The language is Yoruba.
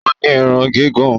O ní Irun gígùn